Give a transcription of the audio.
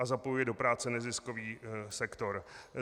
A zapojuje do práce neziskový sektor.